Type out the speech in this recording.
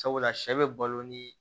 Sabula sɛ bɛ balo ni